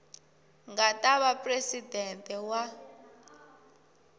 nga ta va presidente wa